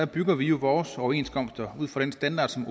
bygger jo vores overenskomster på den standard som